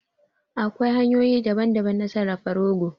Akwai hanyoyi daban daban na sarrafa rogo